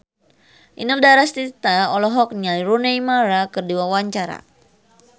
Inul Daratista olohok ningali Rooney Mara keur diwawancara